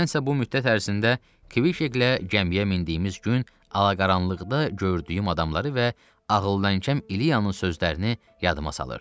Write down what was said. Mən isə bu müddət ərzində Kvişeklə gəmiyə mindiyimiz gün, alaqaranlıqda gördüyüm adamları və ağıldankəm iliyanın sözlərini yadıma salırdım.